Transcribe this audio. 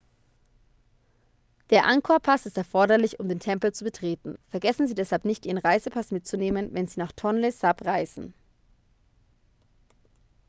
der angkor-pass ist erforderlich um den tempel zu betreten vergessen sie deshalb nicht ihren reisepass mitzunehmen wenn sie nach tonle sap reisen